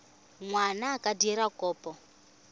ngwana a ka dira kopo